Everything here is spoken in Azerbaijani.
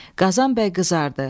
Qazan bəy qızardı.